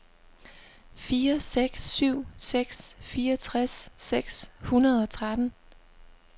fire seks syv seks fireogtres seks hundrede og tretten